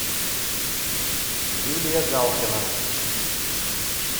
юлия галкина